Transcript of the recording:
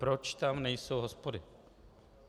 Proč tam nejsou hospody?